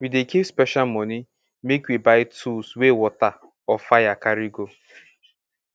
we dey keep special moni make we buy tools wey water or fire carry go